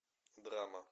драма